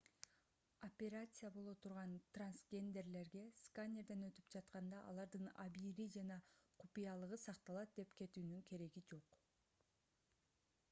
операция боло турган трансгендерлерге сканерден өтүп жатканда алардын абийири жана купуялыгы сакталат деп күтүүнүн кереги жок